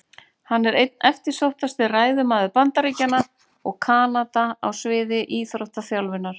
Hann er einn eftirsóttasti ræðumaður Bandaríkjanna og Kanada á sviði íþróttaþjálfunar.